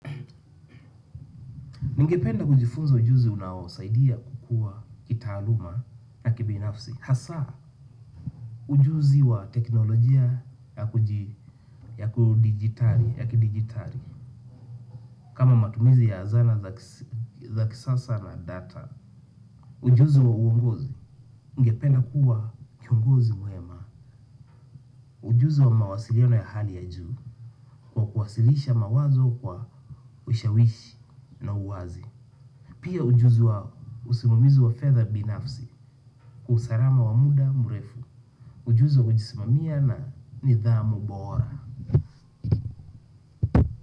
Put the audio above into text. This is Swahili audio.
Ningependa kujifunza ujuzi unaosaidia kukua kita aluma na kibinafsi. Hasaa, ujuzi wa teknolojia ya kuji ya kidigitari, kama matumizi ya zana za kisasa na data. Ujuzi wa uongozi ningependa kuwa kiongozi mwema. Ujuzi wa mawasiliano ya hali ya juu, kwa kuwasilisha mawazo kwa ushawishi na uwazi. Pia ujuzi wao, usimamizi wa fedha binafsi, usarama wa muda murefu, ujuzi wa kujismamia na nidhamu bora.